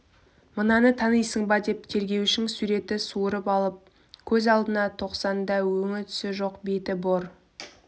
мынаны танисың ба деп тергеушң суретін суырып алып көз алдына тосқанда өңі-түсі жоқ беті бор